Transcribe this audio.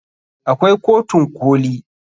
Akwai kotun koli.